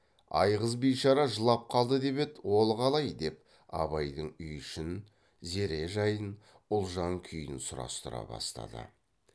айғыз бишара жылап қалды деп еді ол қалай деп абайдың үй ішін зере жайын ұлжан күйін сұрастыра бастады